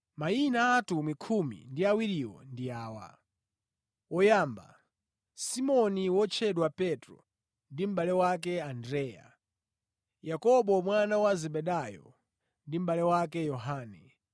Mayina a atumwi khumi ndi awiriwo ndi awa: woyamba, Simoni (wotchedwa Petro) ndi mʼbale wake Andreya; Yakobo mwana wa Zebedayo ndi mʼbale wake Yohane,